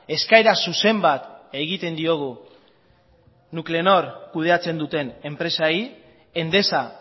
eskaera zuzen bat egiten diogu nuclenor kudeatzen duten enpresei endesa